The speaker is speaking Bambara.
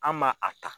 An ma a ta